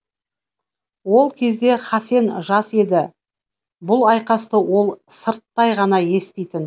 ол кезде хасен жас еді бұл айқасты ол сырттай ғана еститін